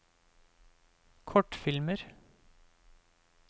kortfilmer